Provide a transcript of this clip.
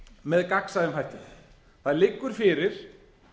með gagnsæjum hætti það liggur fyrir